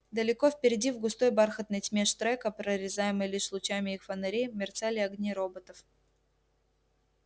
далеко впереди в густой бархатной тьме штрека прорезаемой лишь лучами их фонарей мерцали огни роботов